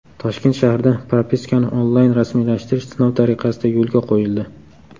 Toshkent shahrida propiskani onlayn rasmiylashtirish sinov tariqasida yo‘lga qo‘yildi.